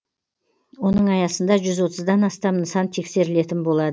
оның аясында жүз отыздан астам нысан тексерілетін болады